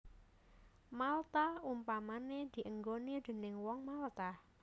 Malta utamané dienggoni déning Wong Malta